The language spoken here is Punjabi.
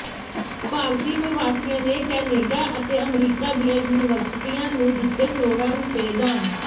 ਭਾਰਤੀ ਪ੍ਰਵਾਸੀਆਂ ਨੇ ਕੈਨੇਡਾ ਅਤੇ ਅਮਰੀਕਾ ਦੀਆਂ ਯੂਨੀਵਰਸਿਟੀਆਂ ਨੂੰ ਦਿੱਤੇ ਕਰੋੜਾਂ ਰੁਪਏ ਦਾਨ